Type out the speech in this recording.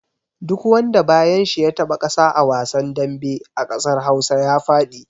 Duk wanda bayan shi ya taɓa ƙasa a wasan dambe a ƙasar Hausa ya faɗi.